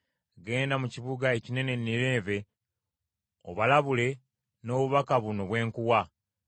“Genda mu kibuga ekinene Nineeve obalabule n’obubaka buno bwe nkuwa.”